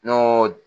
N'o